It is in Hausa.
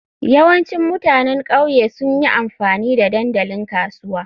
Yawancin mutanen ƙauye sun yi amfani da dandalin kasuwa.